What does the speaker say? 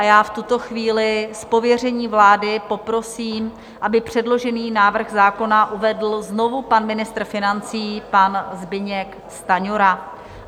A já v tuto chvíli z pověření vlády poprosím, aby předložený návrh zákona uvedl znovu pan ministr financí, pan Zbyněk Stanjura.